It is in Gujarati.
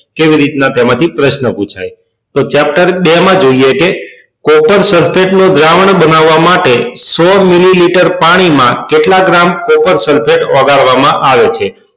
કેવી રીત ના તેમાં થી પ્રશ્ન પુછાય તો chapter માં જોઈએ કે copper sulphate દ્રાવણ બનવવા માટે સો મીલીલીતર પાણી માં કેટલા gram copper sulphate ઓગળવા માં આવે છે